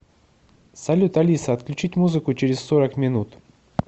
салют алиса отключить музыку через сорок минут